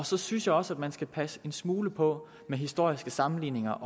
så synes jeg også at man skal passe en smule på med historiske sammenligninger